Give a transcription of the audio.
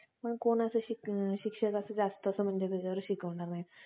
पण कोणाचा शिक्षकाचा असं जास्त म्हणजे त्याच्यावर शिकवणार नाही